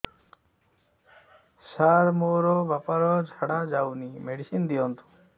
ସାର ମୋର ବାପା ର ଝାଡା ଯାଉନି ମେଡିସିନ ଦିଅନ୍ତୁ